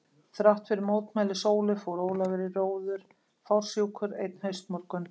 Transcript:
Þrátt fyrir mótmæli Sólu fór Ólafur í róður fársjúkur, einn haustmorgun.